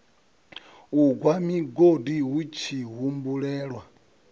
u gwa migodi hutshi humbulelwa